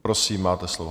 Prosím, máte slovo.